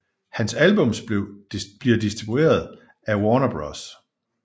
Hans albums bliver distribueret af Warner Bros